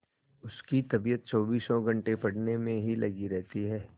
उसकी तबीयत चौबीसों घंटे पढ़ने में ही लगी रहती है